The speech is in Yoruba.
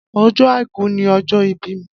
Ọjọ àìkú ni ọjọ ìbí mi.